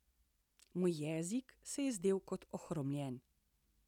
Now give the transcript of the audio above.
Moj jezik se je zdel kot ohromljen.